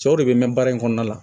Cɛw de be mɛn baara in kɔnɔna la